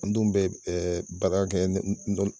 An den be baara kɛ